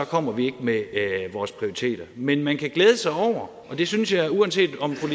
kommer vi ikke med vores prioriteter men man kan glæde sig over og det synes jeg uanset om fru